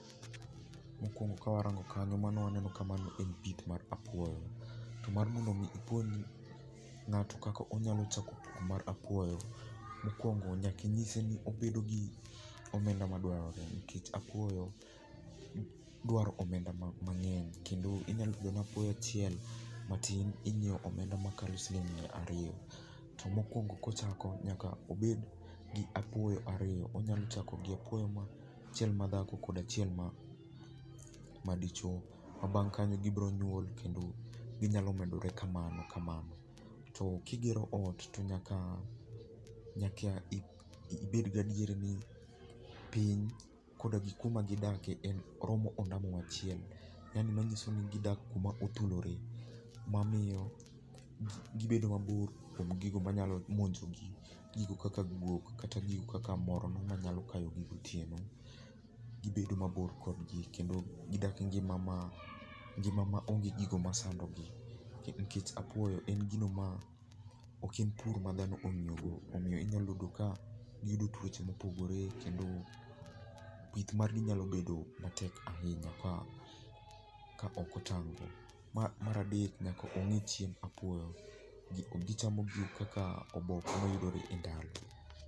Mokuongo ka warango kanyo waneno i mano en pith mar apuoyo. To mar mono i ipuonj ng'ato kaka onyalo chako pith mar apuoyo, mokuongo nyaka inyise ni obedo gi omenda madwarore nikech apuoyo dwaro omenda mang'eny. Inyalo yudo ni apuoyo achiel matin inyiewo omenda makalo siling' miya ariyo, mokuongo kochako to nyaka obed gi apuoyo ariyo, onyalo bedo kod achiel madhako kod achiel madichuo. Ma bang' kanyo gibiro nyuol kendo ginyalo medore kamano kamano. To ka igero ot to nyaka ibed gadier ni piny koda gi kuma gidakie oromo ondamo achiel manyiso ni gidak kuma othulore. Mamiyo gibedo mabor gi gino manyalo monjo gi, gigo kaka guok kata gigo kaka morno manyalo kayogi gotieno makoro gidak engima ma, ngima ma onge gigo masandogi. Nikech apuoyo en gino ma , ok en pur madhano ong'iyogo, omiyo inyalo yudo ka giyudo tuoche ma opogore kendo pith margi nyalo bedo matek ahinya ka ok otang'. Mar adek nyaka ging'i chiemb apuoyoni. Gichamo gigo kaka oboke mayudore e ndalo.